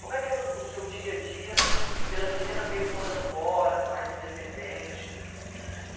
Como é que era o o seu dia-a-dia pela primeira vez morando fora, mais independente?